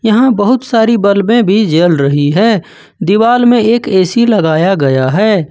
यहां बहुत सारी बलबे भी जल रही है दीवाल में एक ऐ_सी लगाया गया है।